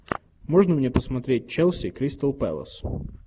можно мне посмотреть челси кристал пэлас